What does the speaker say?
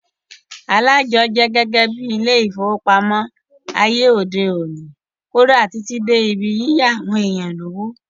Aláàjọ jẹ́ gẹ́gẹ́ bíi ilé ìfowópamọ́ ní ayé òde òni, kódà Títí dé ibi yíyá àwọn èèyàn lówó